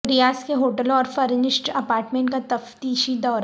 ریاض کے ہوٹلوں اور فرنشڈ اپارٹمنٹ کا تفتیشی دورہ